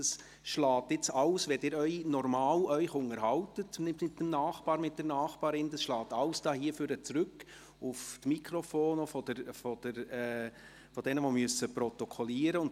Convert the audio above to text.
Wenn Sie sich mit dem Nachbarn, der Nachbarin unterhalten, schlägt dies alles nach vorne zurück, auch auf die Mikrofone der Protokollführenden.